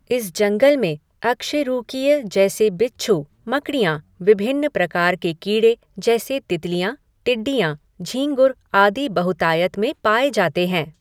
इस जंगल में अकशेरूकीय जैसे बिच्छू, मकड़ियाँ, विभिन्न प्रकार के कीड़े जैसे तितलियाँ, टिड्डियाँ, झींगुर आदि बहुतायत में पाए जाते हैं।